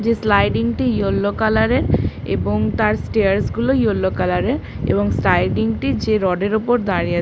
যে স্লাইডিং - টি yellow colour - এর এবং তার স্ট্রেয়ার গুলো ইয়েলো কালার - এর এবং সাইডিং টি যে রড এর উপর দাঁড়িয়ে আ--